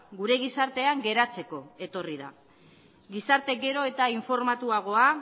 gure gizartean geratzeko etorri da gizarte gero eta informatuagoa